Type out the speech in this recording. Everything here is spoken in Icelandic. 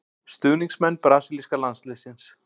Stuðningsmenn brasilíska landsliðsins.